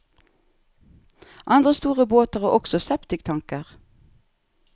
Andre store båter har også septiktanker.